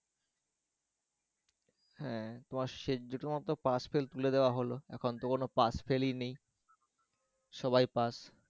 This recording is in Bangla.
হ্যাঁ তোমার শেষ যে তোমার pass-fail তুলে দেওয়া হল এখন তো কোন পাশ-ফেলই নেই সবাই পাশ